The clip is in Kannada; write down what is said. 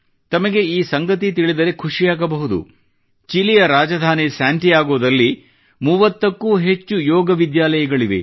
ತಮಗೆ ಈ ಸಂಗತಿ ತಿಳಿದರೆ ಖುಷಿಯಾಗಬಹುದು ಚಿಲಿಯ ರಾಜಧಾನಿ ಸ್ಯಾಂಟಿಯಾಗೋದಲ್ಲಿ 30ಕ್ಕೂ ಹೆಚ್ಚು ಯೋಗ ವಿದ್ಯಾಲಯಗಳಿವೆ